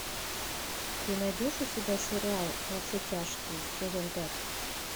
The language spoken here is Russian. ты найдешь у себя сериал во все тяжкие сезон пять